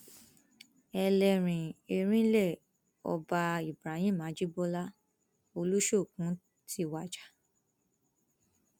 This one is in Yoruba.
ẹlẹrìn erinlẹ ọba ibrahim ajibọlá olùṣoòkùn ti wájà